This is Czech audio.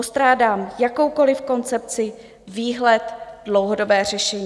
Postrádám jakoukoliv koncepci, výhled, dlouhodobé řešení.